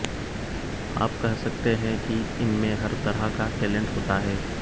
आप कह सकते है की इनमें हर तरह का टैलेंट होता है